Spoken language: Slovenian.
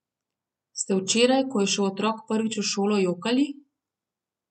Ste včeraj, ko je šel otrok prvič v šolo, jokali?